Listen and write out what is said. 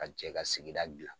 Ka jɛ ka sigida gila.